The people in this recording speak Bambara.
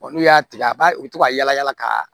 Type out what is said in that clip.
n'u y'a tigɛ a b'a u to ka yala yala ka